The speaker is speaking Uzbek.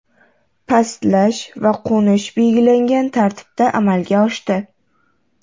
Pastlash va qo‘nish belgilangan tartibda amalga oshdi.